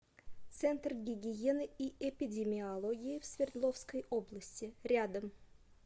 центр гигиены и эпидемиологии в свердловской области рядом